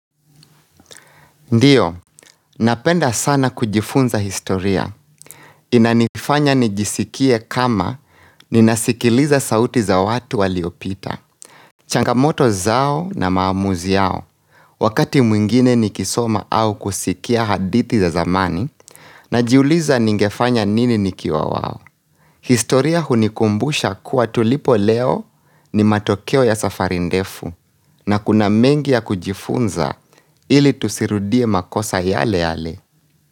Ndiyo, napenda sana kujifunza historia. Inanifanya nijisikie kama ninasikiliza sauti za watu waliopita. Changamoto zao na maamuzi yao. Wakati mwingine nikisoma au kusikia hadithi za zamani, na jiuliza ningefanya nini nikiwa wao. Historia hunikumbusha kuwa tulipo leo ni matokeo ya safarindefu, na kuna mengi ya kujifunza ili tusirudie makosa yale yale.